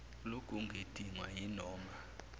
loku kudingwa yinoma